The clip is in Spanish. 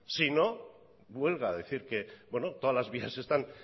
si no huelga decir que todas las vías están